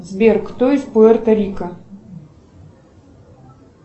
сбер кто из пуэрто рико